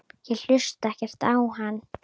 Ég hlusta ekkert á hann.